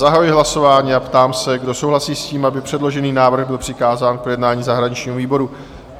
Zahajuji hlasování a ptám se, kdo souhlasí s tím, aby předložený návrh byl přikázán k projednání zahraničnímu výboru?